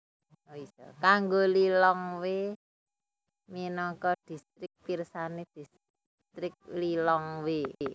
Kanggo Lilongwe minangka distrik pirsani Distrik Lilongwe